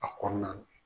A kɔnɔna na